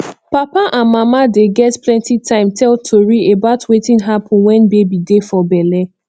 papa and mama dey get plenty time tell tori about wetin happun wen baby dey for belle